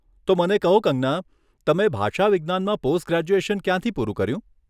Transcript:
તો મને કહો, કંગના, તમે ભાષાવિજ્ઞાનમાં પોસ્ટ ગ્રેજ્યુએશન ક્યાંથી પૂરું કર્યું?